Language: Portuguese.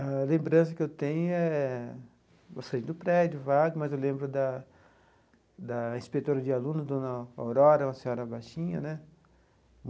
A lembrança que eu tenho é... eu saí do prédio, vago, mas eu lembro da da inspetora de aluno, dona Aurora, uma senhora baixinha, né?